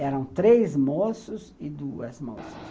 Eram três moços e duas moças.